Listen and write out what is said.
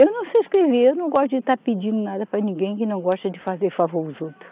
Eu não sei escrever, eu não gosto de estar pedindo nada para ninguém que não gosta de fazer favor aos outros.